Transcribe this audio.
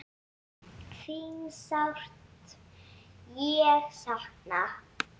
Þín sárt ég sakna.